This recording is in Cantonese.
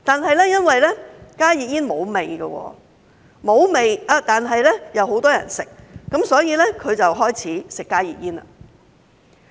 不過，因為加熱煙沒有味，沒有味但又很多人吸食，所以她便開始吸加熱煙。